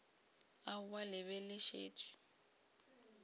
aowa le be le šetše